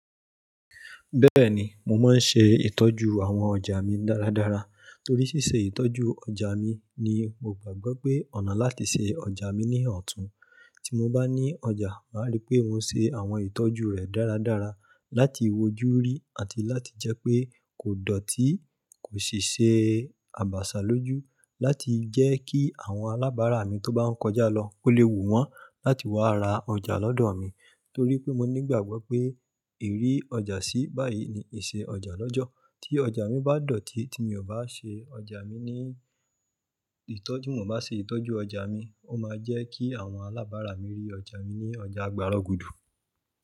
Bẹ́ẹ̀ni, mo máa ń ṣe ìtọ́jú àwọn ọjà mi dáradára, torí ṣíṣe ìtọ́jú ọjà mi ni mo gbàgbọ́ pé ọ̀nà láti ṣe ọjà mi ní ọ̀tún. Tí mo bá ní ọjà, màá rí pé mo ṣe àwọn ìtọ́jú rẹ̀ dáradára láti wojúrí àti láti jẹ́ pé kò dọ̀tí, kò sì ṣe àbàṣà lójú láti jẹ́ kí àwọn alábàárà mi tó bá ń kọjá lọ ó lè wù wọ́n láti wá ra ọjà lọ́dọ̀ mi. Torí pé mo nígbàgbọ́ pé ìrí ọjà sí báyìí ni ìṣe ọjà lọ́jọ́. Tí ọjà mi bá dọ̀tí tí mi ò bá ṣe ọjà mi ní ìtọ́jú, mo bá ṣe ìtọ́jú ọjà mi, ó máa jẹ́ kí àwọn alábàárà mi rí ọjà mi ní ọjà gbárogudu.